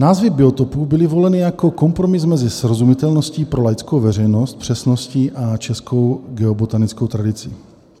Názvy biotopů byly voleny jako kompromis mezi srozumitelností pro laickou veřejnost, přesností a českou geobotanickou tradicí.